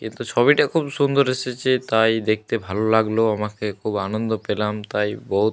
কিন্তু ছবিটা খুব সুন্দর এসেছে তাই দেখতে ভালো লাগলো আমাকে। খুব আনন্দ পেলাম তাই। বহুত --